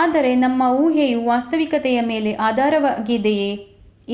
ಆದರೆ ನಮ್ಮ ಊಹೆಯು ವಾಸ್ತವಿಕತೆಯ ಮೇಲೆ ಆಧಾರಿತವಾಗಿದೆಯೇ